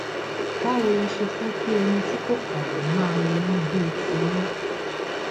báwo lẹ ṣe fẹ kí ẹni tí kò kàwé máa ronú bíi tiyín